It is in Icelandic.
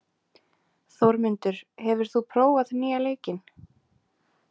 Þórmundur, hefur þú prófað nýja leikinn?